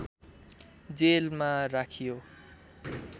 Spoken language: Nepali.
जेलमा राखियो